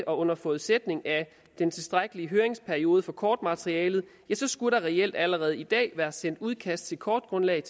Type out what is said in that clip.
under forudsætning af den tilstrækkelige høringsperiode på kortmaterialet så skulle der reelt allerede i dag være sendt udkast til kortgrundlag